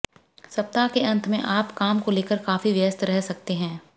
सप्ताह के अंत में आप काम को लेकर काफी व्यस्त रह सकते हैं